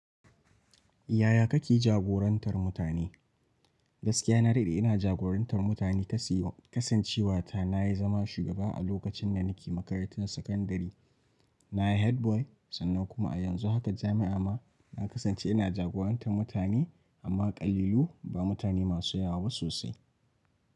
Yaya kake jagorantar mutane? Gaskiya na daɗe ina jagorantar mutane kasancewa ta na yi zama shugaba a lokacin da nake makarantar sakandare. Na yi Head boy sannan kuma a yanzu haka jami'a ma na kasance ina jagorantar mutane amma ƙalilan ba mutane masu yawa ba sosai.